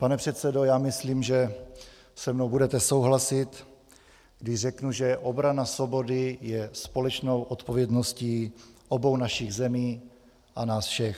Pane předsedo, já myslím, že se mnou budete souhlasit, když řeknu, že obrana svobody je společnou odpovědností obou našich zemí a nás všech.